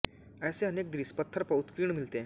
ऐसे अनेक दृश्य पत्थर पर उत्कीर्ण मिलते हैं